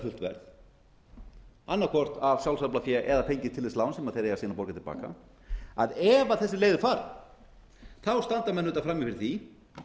verð annað hvort af sjálfsaflafé eða fengið til þess lán sem þeir eiga síðan að borga til baka ef þessi leið er farin þá standa menn auðvitað frammi fyrir því